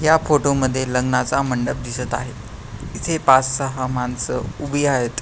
ह्या फोटो मध्ये लग्नाचा मंडप दिसत आहे इथे पाच सहा माणसं उभी आहेत.